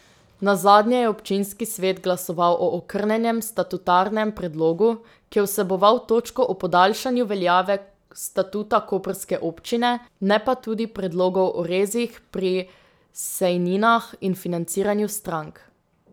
Nazadnje je občinski svet glasoval o okrnjenem statutarnem predlogu, ki je vseboval točko o podaljšanju veljave statuta koprske občine, ne pa tudi predlogov o rezih pri sejninah in financiranju strank.